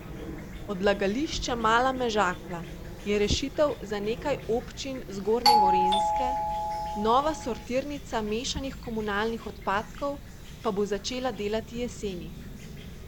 Odlagališče Mala Mežakla je rešitev za nekaj občin zgornje Gorenjske, nova sortirnica mešanih komunalnih odpadkov pa bo začela delati jeseni.